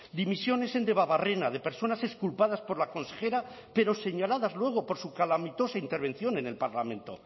dimisiones en debabarrena de personas exculpadas por la consejera pero señaladas luego por su calamitosa intervención en el parlamento